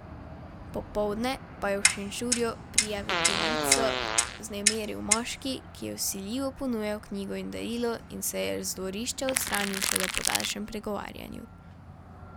Popoldne pa je v Šenčurju prijaviteljico vznemiril moški, ki je vsiljivo ponujal knjigo in darilo in se je z dvorišča odstranil šele po daljšem pregovarjanju.